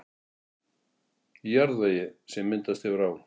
Í jarðvegi, sem myndast hefur á